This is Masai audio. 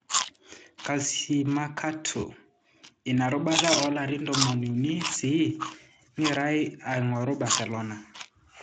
(Calciomercato)Inarubata olarin tomoniuni sii egirae aingoru Barcelona.